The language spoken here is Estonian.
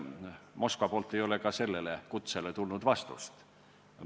Moskvast ei ole sellele kutsele vastust tulnud.